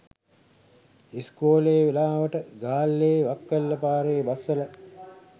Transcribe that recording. ඉස්කෝල වෙලාවට ගාල්ලෙ වක්වැල්ල පාරෙ බස් වල